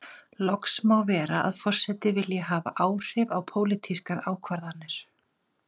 Loks má vera að forseti vilji hafa áhrif á pólitískar ákvarðanir.